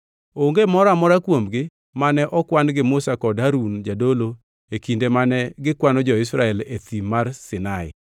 Onge moro amora kuomgi mane okwan gi Musa kod Harun jadolo e kinde mane gikwano jo-Israel e Thim mar Sinai.